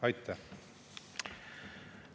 Aitäh!